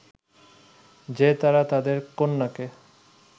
যে তারা তাদের কন্যাকে